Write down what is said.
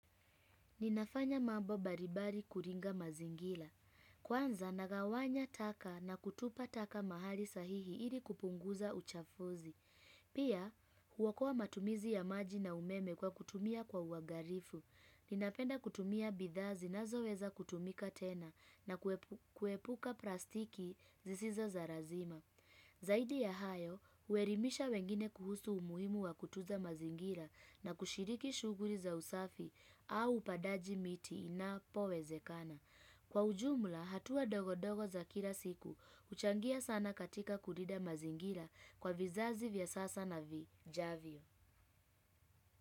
Ninafanya mambo mbalimbali kuringa mazingira. Kwanza nagawanya taka na kutupa taka mahali sahihi ili kupunguza uchafuzi. Pia huokoa matumizi ya maji na umeme kwa kutumia kwa uangalifu. Ninapenda kutumia bidhaa zinazoweza kutumika tena na kuepuka plastiki zisizo za lazima. Zaidi ya hayo, huelimisha wengine kuhusu umuhimu wa kutunza mazingira na kushiriki shughuli za usafi au upandaji miti napowezekana. Kwa ujumla, hatua dogodogo za kila siku, huchangia sana katika kulinda mazingira kwa vizazi vya sasa na vijavyo.